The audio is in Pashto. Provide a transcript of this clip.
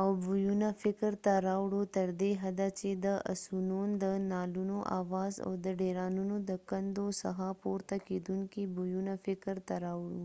او بویونه فکر ته راوړو تر دې حده چې د اسونون د نعلونو آواز او د ډيرانونو د کندو څخه پورته کېدونکي بويونه فکر ته راوړو